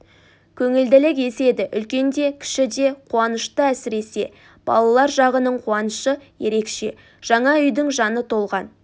көңілділік еседі үлкен де кіші де қуанышты әсіресе балалар жағының қуанышы ерекше жаңа үйдің жаны толған